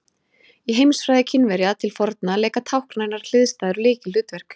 Í heimsfræði Kínverja til forna leika táknrænar hliðstæður lykilhlutverk.